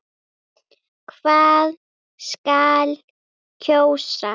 Hvað skal kjósa?